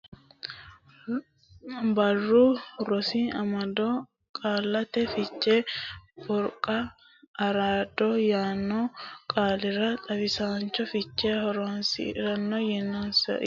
Barru Rosi Amado Qaallate Fichera Borqaalla araado yaanno qaalira xawishshu fiche Horonsi ra yorsiisate Isayyo Borreessa Layinkihu qarrisate qarrissate yaanno qaalira xawishshu fiche mitiinsate.